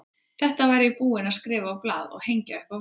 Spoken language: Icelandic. Þetta var ég búinn að skrifa á blað og hengja upp á vegg.